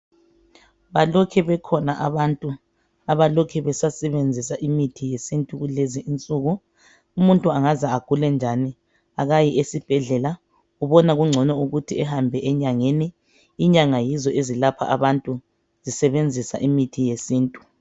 Balokhe bekhona abalokhe besasebenzisa imithi yesintu kulezinsuku. Umuntu angaze agule njani akayi esibhedlela ubona kungcono ukuthi ahambe enyangeni .Inyanga yizo ezilapha abantu zisebenzisa imithi yesintu.